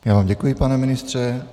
Já vám děkuji, pane ministře.